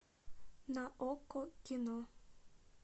на окко кино